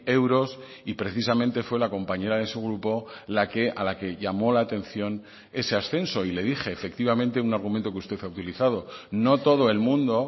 euros y precisamente fue la compañera de su grupo a la que llamó la atención ese ascenso y le dije efectivamente un argumento que usted ha utilizado no todo el mundo